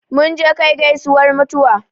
Mun je kai gaisuwar mutuwa